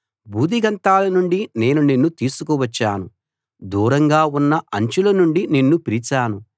భూదిగంతాల నుండి నేను నిన్ను తీసుకువచ్చాను దూరంగా ఉన్న అంచుల నుండి నిన్ను పిలిచాను